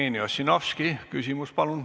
Jevgeni Ossinovski, palun!